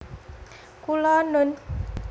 Kula nun